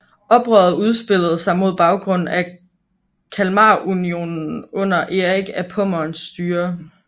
Oprøret udspillede sig mod baggrund af Kalmarunionen under Erik af Pommerns styre